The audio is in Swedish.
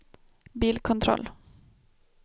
bilkontroll